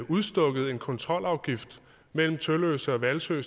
udstukket en kontrolafgift mellem tølløse og hvalsø